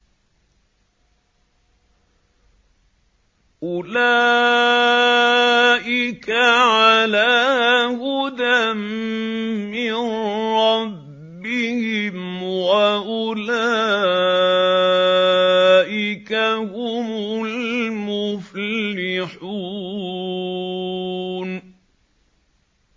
أُولَٰئِكَ عَلَىٰ هُدًى مِّن رَّبِّهِمْ ۖ وَأُولَٰئِكَ هُمُ الْمُفْلِحُونَ